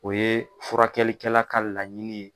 O ye furakɛlikɛla ka laɲini ye.